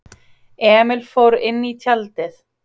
Emil fór inní tjaldið.